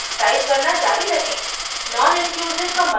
code का अगला भाग टाइप करना जारी रखें